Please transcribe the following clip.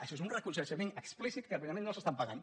això és un reconeixement explícit que precisament no s’estan pagant